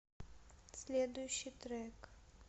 следующий трек